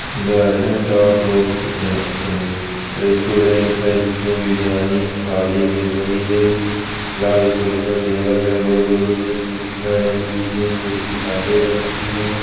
Garden top roast a restaurant है जिसमें बिरयानी थाली मिल रही है लाल कलर का टेबल है गोल-गोल उसमें कुर्सियां डली हुई है कुर्सी काले रंग की है।